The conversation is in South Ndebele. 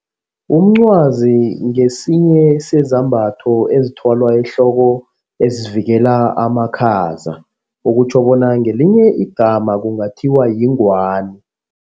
Umncwazi ngesinye sezambatho ezithwalwa ehloko esivikela amakhaza okutjho bona ngelinye igama kungathi bona yingwani.